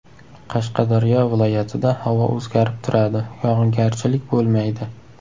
Qashqadaryo viloyatida havo o‘zgarib turadi, yog‘ingarchilik bo‘lmaydi.